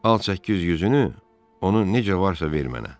Al 800 üzünü, onu necə varsa ver mənə.